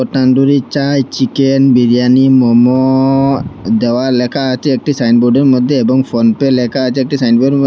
tandoori chai chicken biryani momo দেওয়া লেখা আছে একটি সাইনবোর্ডের মধ্যে এবং ফোনপে লেখা আছে একটি সাইনবোর্ডের ম--